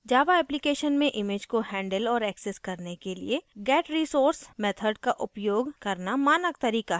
java application में images को handle और access करने के लिए getresource method का उपयोग करना मानक तरीका है